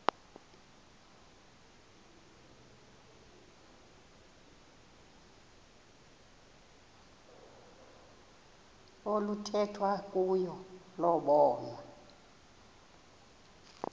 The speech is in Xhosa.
oluthethwa kuyo lobonwa